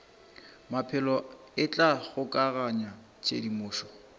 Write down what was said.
maphelo e tla kgokaganya tshedimošo